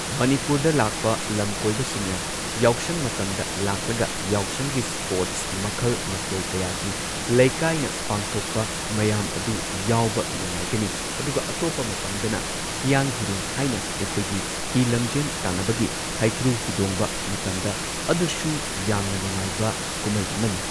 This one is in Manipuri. ꯃꯅꯤꯄꯨꯔꯗ ꯂꯥꯛꯄ ꯂꯝꯀꯣꯏꯕꯁꯤꯡꯅ ꯌꯥꯎꯁꯪ ꯃꯇꯝꯗ ꯂꯥꯛꯂꯒ ꯌꯥꯎꯁꯪꯒꯤ ꯁ꯭ꯄꯣꯔꯠ ꯃꯈꯜ ꯃꯊꯦꯜ ꯀꯌꯥꯒꯤ ꯂꯩꯀꯥꯏꯅ ꯄꯥꯡꯊꯣꯛꯄ ꯃꯌꯥꯝ ꯑꯗꯨ ꯌꯥꯎꯕ ꯅꯨꯡꯉꯥꯏꯒꯅꯤ ꯑꯗꯨꯒ ꯑꯇꯣꯞꯄ ꯃꯇꯝꯗꯅ ꯍꯤꯌꯥꯡ ꯍꯤꯔꯦꯟ ꯍꯥꯏꯅ ꯑꯩꯈꯣꯏꯒꯤ ꯍꯤ ꯂꯝꯖꯦꯟ ꯇꯥꯟꯅꯕꯒꯤ ꯍꯩꯀ꯭ꯔꯨ ꯍꯤꯗꯣꯡꯕ ꯃꯇꯝꯗ ꯑꯗꯨꯁꯨ ꯌꯥꯝꯅ ꯅꯨꯡꯉꯥꯏꯕ ꯀꯨꯝꯍꯩ ꯑꯃꯅꯤ꯫